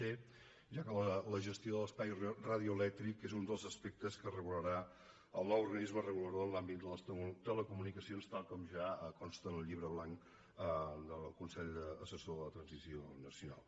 c ja que la gestió de l’espai radioelèctric és un dels aspectes que regularà el nou organisme regulador en l’àmbit de les telecomunicacions tal com ja consta en el llibre blanc del consell assessor per a la transició nacional